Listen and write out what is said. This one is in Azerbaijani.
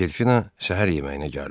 Delfina səhər yeməyinə gəldi.